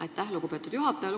Aitäh, lugupeetud juhataja!